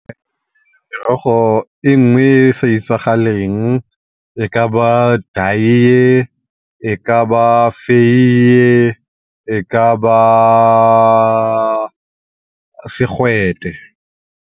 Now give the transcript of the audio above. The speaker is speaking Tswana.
e nngwe e e sa etsagaleng e ka ba daiye, e ka ba feiye, e ka ba segwete.